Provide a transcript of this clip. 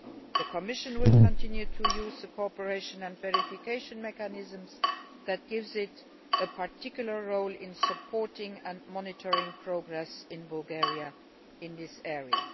The Commission will continue use the Cooperation and Verification Mechanisms that gives it a particular role in supporting and monitoring progress in Bulgaria in this area.